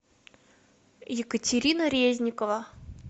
екатерина резникова